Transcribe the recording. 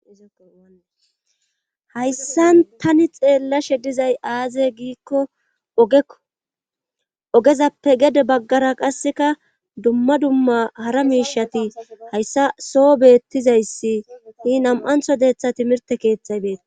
hayssan tani xeellashe dizay aaze giikko ogekko ogezappe gede baggara qasseka dumma dumma hara miishati hayssa soo beettizayssi hi nam7antho deetha timirte keeththay beeta